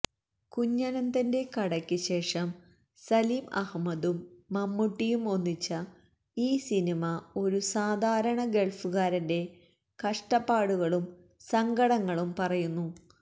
കുഞ്ഞനന്തന്റെ കടക്ക് ശേഷം സലിം അഹമ്മദും മമ്മൂട്ടിയും ഒന്നിച്ച ഈ സിനിമ ഒരു സാധാരണ ഗള്ഫുകാരന്റ കഷ്ടപ്പാടുകളും സങ്കടങ്ങളും പറയുന്നു